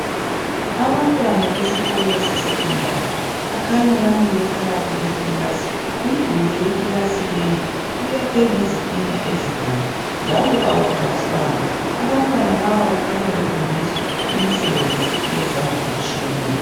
Abantwana besikolo se Secondary bakhanya bamile phakathi kwekilasi, umduli wekilasi leyi uyakhwe ngezitina ezibomvu njalo "kawuplastwanga" abantwana laba kukhanya befundiswa imisebenzi yezandla etshiyeneyo